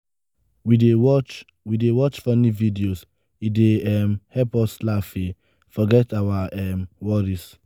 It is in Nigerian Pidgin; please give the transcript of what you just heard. we dey watch we dey watch funny videos e dey um help us laugh um forget our um worries.